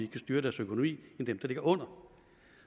kan styre deres økonomi end dem der ligger under